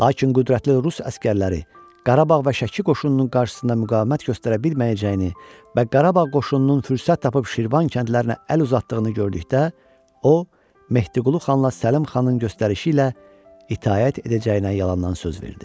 Lakin qüdrətli Rus əsgərləri Qarabağ və Şəki qoşununun qarşısında müqavimət göstərə bilməyəcəyini və Qarabağ qoşununun fürsət tapıb Şirvan kəndlərinə əl uzatdığını gördükdə o, Mehdiqulu xanla Səlim xanın göstərişi ilə itaət edəcəyinə yalandan söz verdi.